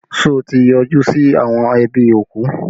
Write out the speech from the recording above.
Ṣé ẹ ti yọjú sí àwọn ẹbí òkú?